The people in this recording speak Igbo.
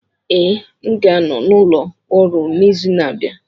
Ee, m ga-anọ n'ụlọ ọrụ n'izu na-abịa